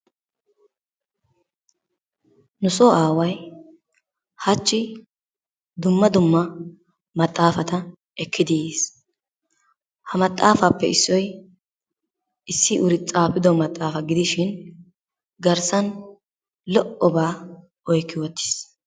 Nusoo aaway hachi dumma dumma maxxafata ekkidi yiis, ha maxaafaappe issoy issi uri tsaafido maxaafa gidishin garssan lo'obaa oykki uttiis.